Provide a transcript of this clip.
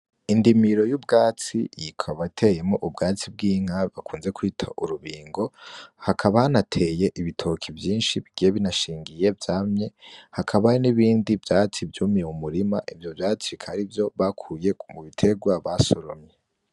Indimiro y'ubwatsi yikabateyemo ubwatsi bw'inka bakunze kwita urubingo hakabanateye ibitoki vyinshi bgiye binashingiye vyamye hakaba n'ibindi vyatsi vyumiye mumurima ivyo vyacika ari vyo bakuye mu biterwa basoromye.